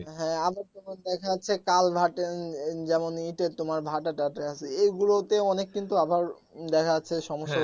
হ্যা আবার তোমার দেখা যাচ্ছে কালভার্ট এর যেমন ইটের তোমার ভাটা টাটা আছে এগুলোতে অনেক কিন্তু আবার উম দেখা যাচ্ছে সমস্যা